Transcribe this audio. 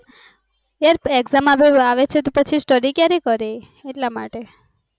યાર exam આવે છે તો પછી study ક્યારે કરે એ